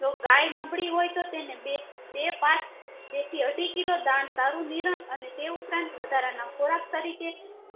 જો ગાય નબળી હોય તો તેને બે બે પાંચ બે થી અઢી કિલો ધાન સારું નીરણ અને તે ઉપરાંત વધારાના ખોરાક તરીકે